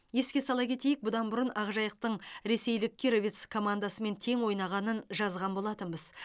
еске сала кетейік бұдан бұрын ақжайықтың ресейлік кировец командасымен тең ойнағанын жазған болатынбыз